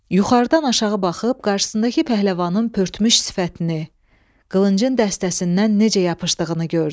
Yuxarıdan aşağı baxıb qarşısındakı pəhləvanın pörtmüş sifətini, qılıncın dəstəsindən necə yapışdığını gördü.